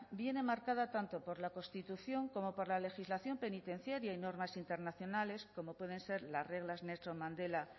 viene marcada tanto por la constitución como por la legislación penitenciaria y normas internacionales como pueden ser las reglas nelson mandela